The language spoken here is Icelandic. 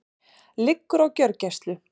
Liggur á gjörgæslu